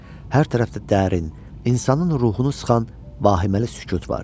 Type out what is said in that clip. Hər tərəfdə dərin, insanın ruhunu sıxan vahiməli sükut vardı.